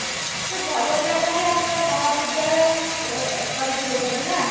ସେ ଭଲ ଜାଗାରେ ଆମ ମହାବିଦ୍ୟାଳୟ ଓ କରିଥିଲେ ସବୁ ନା